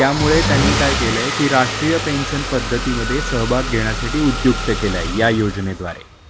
त्यामुळे त्यांनी काय केलं की राष्ट्रीय पेन्शन पद्धतीमध्ये सहभाग घेण्यासाठी उद्युक्त केलं या योजनेद्वारे